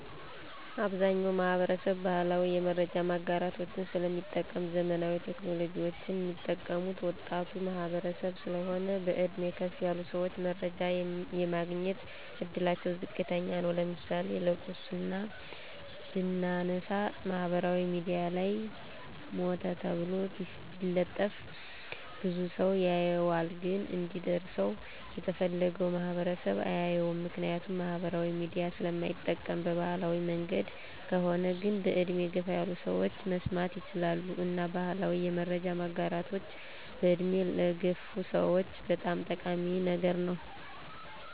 አብዛኛዉ ማህበረሰብ ባህላዊ የመረጃ ማጋራቶችን ስለሚጠቀም ዘመናዊ ቴክኖሎጂወችን ሚጠቀሙት ወጣቱ ማህበረሰብ ስለሆን በእድሜ ከፍ ያሉ ሰወች መረጃ የማግኘት እድላቸዉ ዝቅተኛ ነዉ ለምሳሌ ለቅሶን ብናነሳ ማህበራዊ ሚድያ ላይ ሞተ ተብሎ ቢለጠፍ ብዙ ሰዉ ያየዋል ግን እንዲደርሰዉ የተፈለገዉ ማህበረሰብ አያየዉም ምክንያቱም ማህበራዊ ሚዲያ ስለማይጠቀም በባህላዊ መንገድ ከሆነ ግን በእድሜ ገፋ ያሉ ሰወች መስማት ይችላሉ እና ባህላዊ የመረጃ ማጋራቶች በእድሜ ለገፉ ሰወች በጣም ጠቃሚ ነገር ነዉ